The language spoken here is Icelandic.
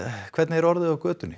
hvernig er orðið á götunni